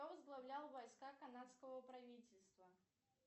кто возглавлял войска канадского правительства